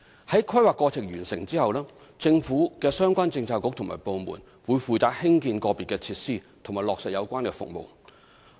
在規劃過程完成後，政府相關政策局及部門會負責興建個別設施及落實有關的服務。